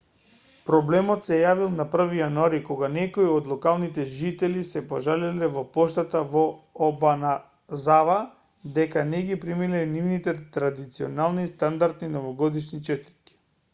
проблемот се јавил на 1 јануари кога некои од локалните жители се пожалиле во поштата во обаназава дека не ги примиле нивните традиционални и стандардни новогодишни честитки